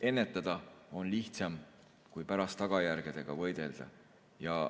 Ennetada on lihtsam kui pärast tagajärgedega võidelda.